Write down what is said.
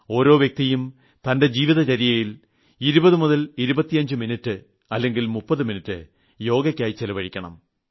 ഓരോ വ്യക്തിയും തന്റെ ജീവിതചര്യയിൽ 2025 മിനിറ്റ് അല്ലങ്കിൽ 30 മിനിറ്റ് യോഗയ്ക്കായി ചിലവഴിക്കണം